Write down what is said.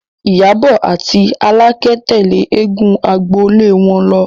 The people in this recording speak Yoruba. Ìyábọ̀ àti Àlàkẹ́ tẹ̀lé eégún agbolé wọn lọ